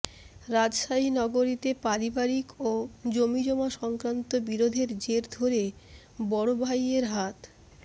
রাজশাহী নগরীতে পারিবারিক ও জমিজমা সংক্রান্ত বিরোধের জের ধরে বড় ভাইয়ের হাত